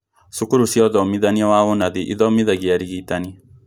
Cukuru cia ũthomithania wa ũnathi ithomithagia arigitani